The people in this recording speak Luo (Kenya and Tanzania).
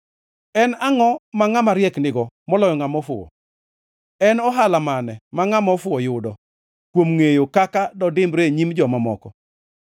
En angʼo ma ngʼama riek nigo moloyo ngʼama ofuwo? En ohala mane ma ngʼama ofuwo yudo kuom ngʼeyo kaka dodimbre e nyim joma moko?